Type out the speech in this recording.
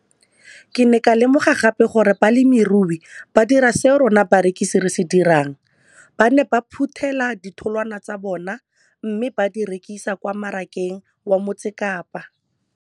Ke ne ka lemoga gape gore balemirui ba dira seo rona barekisi re se dirang - ba ne ba phuthela ditholwana tsa bona mme ba di rekisa kwa marakeng wa Motsekapa.